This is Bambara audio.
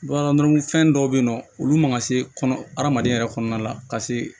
Bamananfɛn dɔw bɛ yen nɔ olu man ka se kɔnɔ hadamadenya yɛrɛ kɔnɔna la ka se